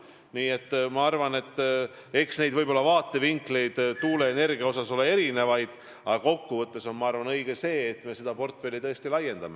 Nii et eks tuuleenergiat puudutavaid vaatevinkleid ole erinevaid, aga kokkuvõttes on, ma arvan, õige see, et me seda portfelli tõesti laiendame.